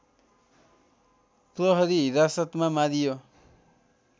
प्रहरी हिरासतमा मारियो